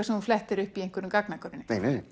sem þú flettir upp í einhverjum gagnagrunni